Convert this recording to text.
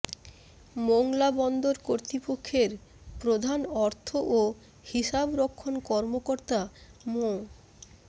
মোংলা বন্দর কর্তৃপক্ষের প্রধান অর্থ ও হিসাবরক্ষণ কর্মকর্তা মো